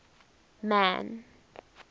man